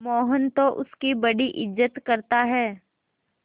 मोहन तो उसकी बड़ी इज्जत करता है